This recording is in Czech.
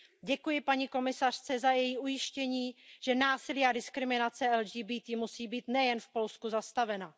Děkuji paní komisařce za její ujištění, že násilí a diskriminace LGBTI musí být nejen v Polsku zastavena.